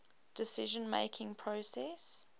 decision making process